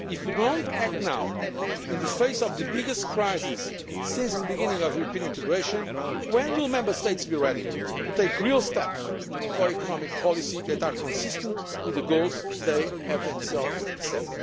things. If we do not act now, in the face of the biggest crisis since the beginning of European integration, when will Member States be ready to take real steps for economic policies that are consistent with the goals they have themselves